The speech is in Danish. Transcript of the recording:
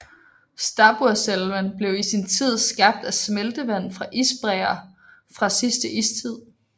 Stabburselven blev i sin tid skabt af smeltevand fra isbræer fra sidste istid